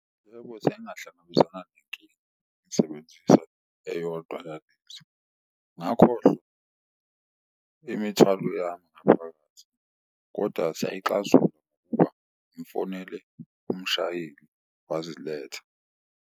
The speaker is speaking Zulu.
Yebo, sengahlangabezana nenkinga, ngisebenzisa eyodwa ngakhohlwa imithwalo yami ngaphakathi, kodwa siyayixazulula ngimfonele umshayeli waziletha.